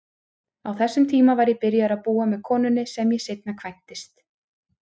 Á þessum tíma var ég byrjaður að búa með konunni sem ég seinna kvæntist.